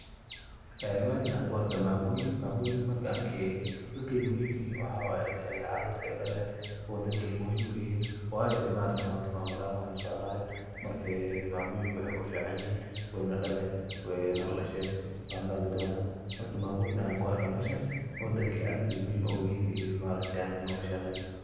Meeshan waxa kuarka mamoyin, mamoyinka dadka ey muhiim uyihin waxa waye carurta ey daleen wadanka ayey muhiim uyihin wayo de maaragte manta mamo laan waxbo masoconayo marka mamoyinka wexey kuficanyihin wey nadhaleen, wey naladhasheen wandhali donaa marka mamoyin ayan kuarka meeshan wadanka aad ayey muhiim oguyihin iyo anaka nolashanada.